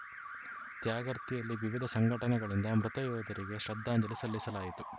ತ್ಯಾಗರ್ತಿಯಲ್ಲಿ ವಿವಿಧ ಸಂಘಟನೆಗಳಿಂದ ಮೃತ ಯೋಧರಿಗೆ ಶ್ರದ್ಧಾಂಜಲಿ ಸಲ್ಲಿಸಲಾಯಿತು